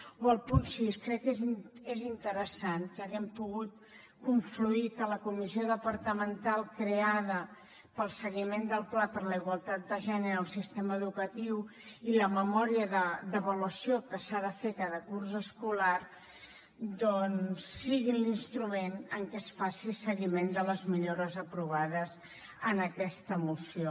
o el punt sis crec que és interessant que haguem pogut confluir que la comissió departamental creada per al seguiment del pla per a la igualtat de gènere en el sistema educatiu i la memòria d’avaluació que se n’ha de fer cada curs escolar doncs siguin l’instrument amb què es faci seguiment de les millores aprovades en aquesta moció